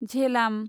Jhelum